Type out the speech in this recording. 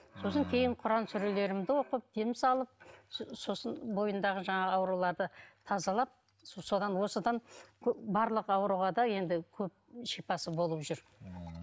сосын кейін құран сүрелерімді оқып дем салып сосын бойындағы жаңағы ауруларды тазалап содан осыдан барлық ауруға да енді көп шипасы болып жүр ммм